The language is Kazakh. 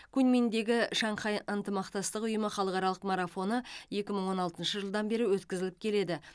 куньминдегі шанхай ынтымақтастық ұйымы халықаралық марафоны екі мың он алтыншы жылдан бері өткізіліп келеді